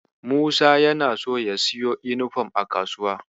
Musa yana so ya siyo yunifom a kasuwa.